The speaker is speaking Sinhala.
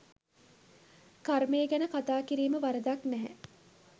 කර්මය ගැන කතා කිරීම වරදක් නැහැ.